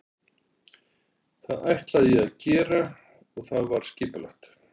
Það ætlaði ég að gera og það var skipulagt.